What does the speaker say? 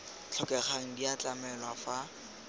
tlhokegang di a tlamelwa fa